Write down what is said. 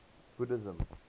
buddhism